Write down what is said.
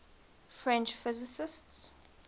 french physicists